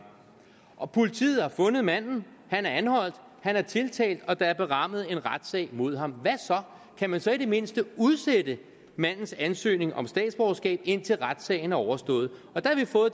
og politiet har fundet manden han er anholdt han er tiltalt og der er berammet en retssag mod ham kan man så i det mindste udsætte mandens ansøgning om statsborgerskab indtil retssagen er overstået